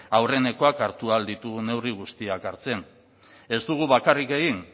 aurrenekoak hartu ahal ditugun neurri guztiak hartzen ez dugu bakarrik egin